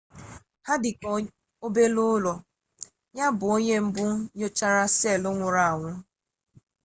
ha dị ka obere ụlọ ya bụ onye mbụ nyochara seelụ nwụrụ anwụ